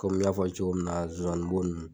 Kɔmi n y'a fɔ cogo min na zonzanni bo nunnu